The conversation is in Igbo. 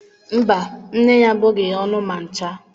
Mba, nne ya abụghị ya ọnụ ma ncha.